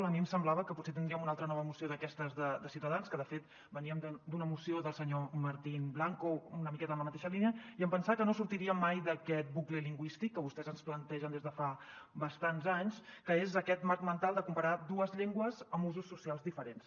a mi em semblava que potser tindríem una altra nova moció d’aquestes de ciutadans que de fet veníem d’una moció del senyor martín blanco una miqueta en la mateixa línia i em pensava que no sortiríem mai d’aquest bucle lingüístic que vostès ens plantegen des de fa bastants anys que és aquest marc mental de comparar dues llengües amb usos socials diferents